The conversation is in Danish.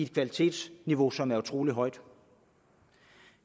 kvalitetsniveau som er utrolig højt